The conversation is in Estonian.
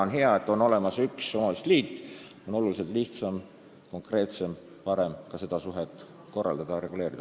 On hea, et on olemas üks üleriigiline omavalitsuste liit, nii on oluliselt lihtsam, konkreetsem ja parem ka seda suhtlemist korraldada ja reguleerida.